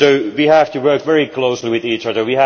We have to work very closely with each other